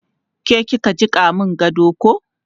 Ke ki ka jiƙa mun gado ko?